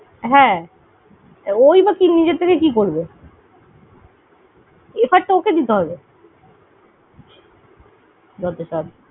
হ্যাঁ, ওই বা নিজের থেকে কি করবে? এরপর তো তোকে দিতে। হবে যতসব।